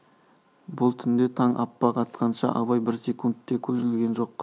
бұл түнде таң аппақ атқанша абай бір секунд те көз ілген жоқ